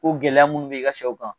gɛlɛya minnu bɛ i ka sɛw kan.